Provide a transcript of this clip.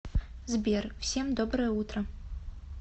сбер всем доброе утро